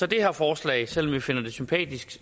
det her forslag selv om vi finder det sympatisk